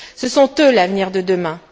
Ce sont eux l'avenir de demain.